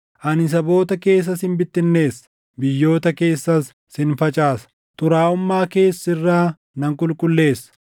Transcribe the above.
Ani saboota keessa sin bittinneessa; biyyoota keessas sin facaasa; xuraaʼummaa kees sirraa nan qulqulleessa.